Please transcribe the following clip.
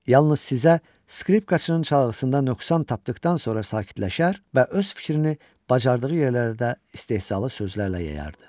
Yalnız sizə skripkaçının çalğısında nöqsan tapdıqdan sonra sakitləşər və öz fikrini bacardığı yerlərdə istehzalı sözlərlə yayardı.